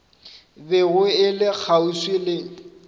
bego e le kgauswi le